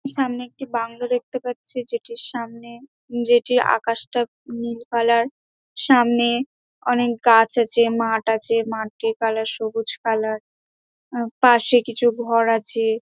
সামনে একটি বাংলো দেখতে পারছি যেটির সামনে যেটির আকাশ টা নীল কালার । সামনে অনেক গাছ আছে মাঠ আছে মাঠটির কালার সবুজ কালার । আ পশে কিছু ঘর আছে.|